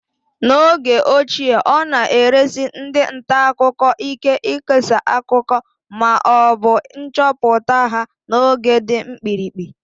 N'oge ochie, ọ na-esiri ndị nta akụkọ ike ikesa akụkọ ma ọ bụ nchọpụta ha n'oge dị mkpirikpi